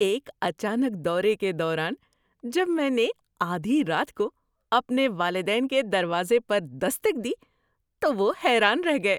ایک اچانک دورے کے دوران جب میں نے آدھی رات کو اپنے والدین کے دروازے پر دستک دی تو وہ حیران رہ گئے۔